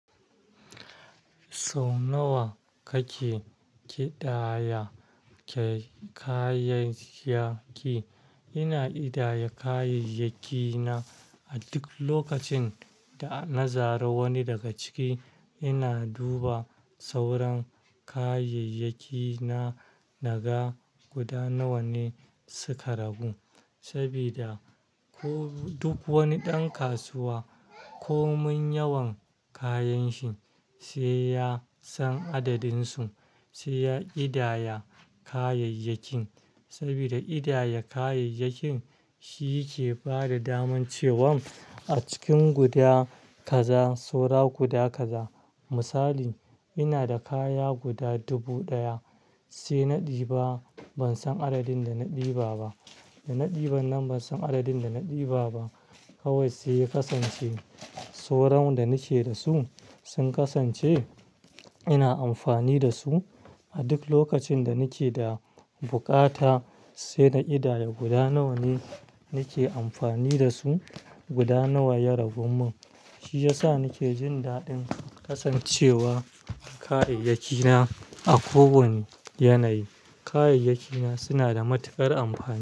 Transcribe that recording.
Sau nawa kake ƙidaya kayayyaki? Ina ƙidaya kayayyaki na a duk lokacin da na zari wani daga ciki. Ina duba sauran kayayyaki na naga guda nawa ne suka ragu. Saboda ko duk wani ɗan kasuwa komin yawan kayan shi sai ya san adadin su, sai ya ƙidaya kayayyakin. Saboda ƙidaya kayayyakin shi ke bada daman cewan a cikin guda kaza saura guda kaza. Misali, ina da kaya guda dubu ɗaya sai na ɗiba ban san adadin da na ɗiba ba, da na ɗiban nan ban san adadin da na ɗiba ba. Kawai sai ya ƙasance sauran da nake da su sun ƙasance ina amfani da su a duk lokacin da nake da buƙata sai na ƙidaya guda nawa ne nake amfani da su, guda nawa ya ragun mun. Shi yasa nake jin daɗin ƙasancewa kayayyaki na a ko wane yanayi. Kayayyaki na suna da matuƙar amfani.